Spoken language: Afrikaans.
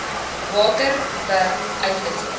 water b uitwissing